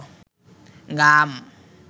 গাম